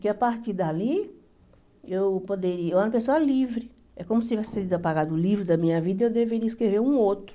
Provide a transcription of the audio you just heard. Que a partir dali eu poderia, eu era uma pessoa livre, é como se tivesse sido apagado o livro da minha vida e eu deveria escrever um outro.